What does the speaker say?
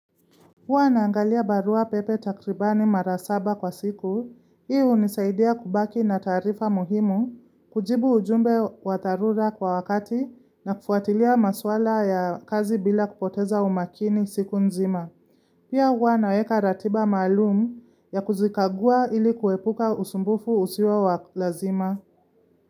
Huwa naangalia barua pepe takribani mara saba kwa siku, hii unisaidia kubaki na taarifa muhimu, kujibu ujumbe wa dharura kwa wakati na kufuatilia maswala ya kazi bila kupoteza umakini siku nzima. Pia huwa naweka ratiba maalum ya kuzikagua ili kuwepuka usumbufu usio wa wa lazima.